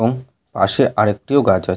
এবং পাশে আর একটিও গাছ আছ--